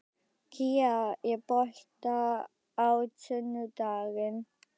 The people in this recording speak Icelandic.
Kía, er bolti á sunnudaginn?